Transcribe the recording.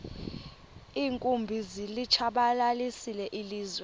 iinkumbi zilitshabalalisile ilizwe